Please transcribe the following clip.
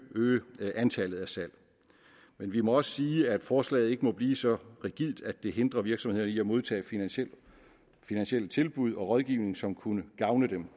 øge antallet af salg men vi må også sige at forslaget ikke må blive så rigidt at det hindrer virksomheder i at modtage finansielle finansielle tilbud og rådgivning som kunne gavne dem